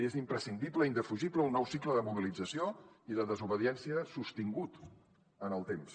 és imprescindible i indefugible un nou cicle de mobilització i de desobediència sostingut en el temps